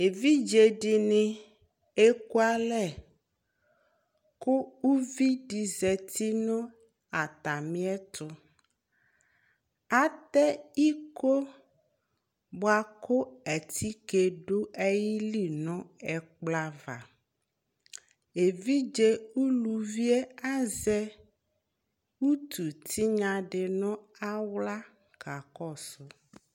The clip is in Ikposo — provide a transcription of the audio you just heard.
evidze di ni eku alɛ kò uvi di zati no atami ɛto atɛ iko boa kò atike do ayili no ɛkplɔ ava evidze uluvi yɛ azɛ utu tinya di no ala ka kɔsu